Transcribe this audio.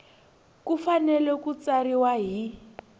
ku fanele ku tsariwa hi